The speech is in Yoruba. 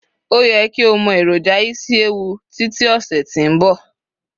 o ye ki o mọ eroja isiewu Títí ọsẹ ti nbọ